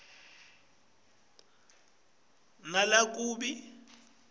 emagama lakua nalakub